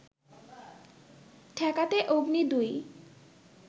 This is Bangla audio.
ঠেকাতে অগ্নি ২